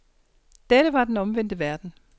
Dette var den omvendte verden.